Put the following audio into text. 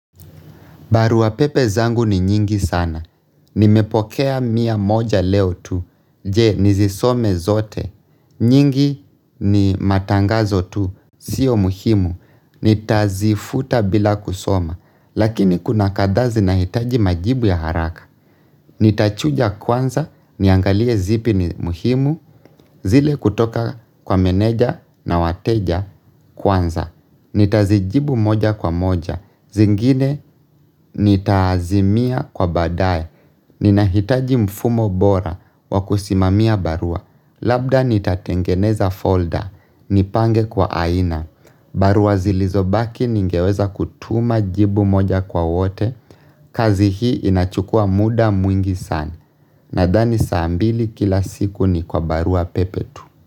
Barua pepe zangu ni nyingi sana. Nimepokea mia moja leo tu. Je nizisome zote. Nyingi ni matangazo tu. Sio muhimu. Nitazifuta bila kusoma. Lakini kuna kadazi nahitaji majibu ya haraka. Nitachuja kwanza. Niangalie zipi ni muhimu. Zile kutoka kwa meneja na wateja kwanza. Nitazijibu moja kwa moja, zingine nitaazimia kwa badae Ninahitaji mfumo bora wa kusimamia barua Labda nitatengeneza folder, nipange kwa aina barua zilizobaki ningeweza kutuma jibu moja kwa wote kazi hii inachukua muda mwingi sana Nahdani saa mbili kila siku ni kwa barua pepe tu.